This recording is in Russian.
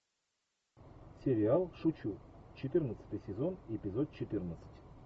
сериал шучу четырнадцатый сезон эпизод четырнадцать